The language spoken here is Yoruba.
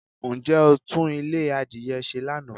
Ǹjẹ́ o tún Ilé adìye se Lana?